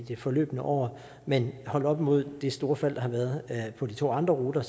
det forløbne år men holdt op imod det store fald der har været på de to andre ruter